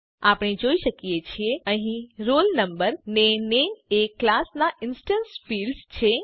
આપણે જોઈ શકીએ છીએ કે અહીં roll no અને નામે એ આ ક્લાસ નાં ઇન્સ્ટેન્સ ફિલ્ડ્સ છે